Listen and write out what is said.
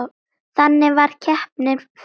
Þannig varð keppnin fyrst til.